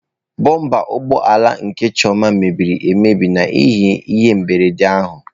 Bụmba ụgbọ ala nke Chioma mebiri emebi n'ihi ihe mberede ahụ.